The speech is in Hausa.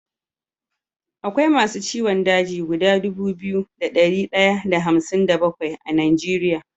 Akwai masu ciwon daji guda Dubu biyu da dari daya da hamsin da bakwai a nigeria